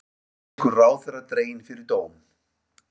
Egypskur ráðherra dreginn fyrir dóm